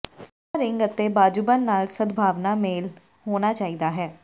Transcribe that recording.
ਨਹੁੰ ਰਿੰਗ ਅਤੇ ਬਾਜ਼ੂਬੰਦ ਨਾਲ ਸਦਭਾਵਨਾ ਮਿਲ ਹੋਣਾ ਚਾਹੀਦਾ ਹੈ